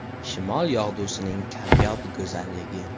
Shimol yog‘dusining kamyob go‘zalligi.